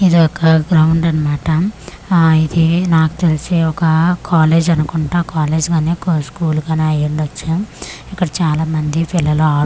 ఇది ఒక గ్రౌండ్ అన్నమాట ఆ ఇది నాకు తెలిసి ఒక కాలేజ్ అనుకుంటా కాలేజ్ కానీ స్కూల్ కానీ అయి ఉండచ్చు ఇక్కడ చాలా మంది పిల్లలు ఆడుకుంటూ.